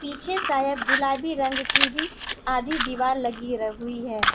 पीछे शायद गुलाबी रंग की भी आधी दीवाल लगी र हुई है।